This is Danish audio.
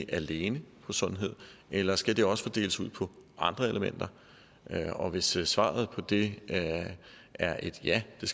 alene på sundhed eller skal det også fordeles ud på andre elementer og hvis svaret på det er et ja til